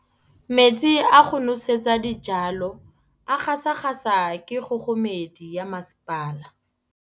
Metsi a go nosetsa dijalo a gasa gasa ke kgogomedi ya masepala.